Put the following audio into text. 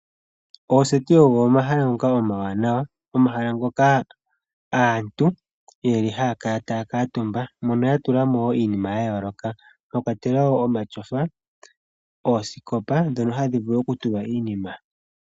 Oseti ogo omahala ngoka omawanawa. Omahala ngoka aantu ye li haya kala taya katumba mono ya tula iinima ya yooloka mwa katelwa wo omatyofa, oosikopa dhono hadhi vulu okutulwa iinima.